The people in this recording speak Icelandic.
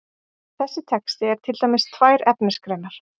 Þessi texti er til dæmis tvær efnisgreinar.